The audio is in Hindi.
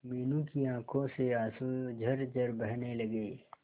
मीनू की आंखों से आंसू झरझर बहने लगे